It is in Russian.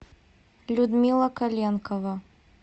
людмила коленкова